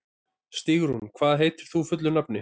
Stígrún, hvað heitir þú fullu nafni?